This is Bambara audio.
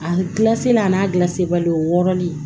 A gilasila a n'a gilan se bali o wɔɔrɔ de